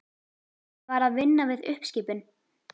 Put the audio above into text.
Hann var að vinna við uppskipun.